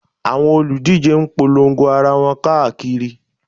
Àwọn olùdíje ń polongo ara wọn káàkiri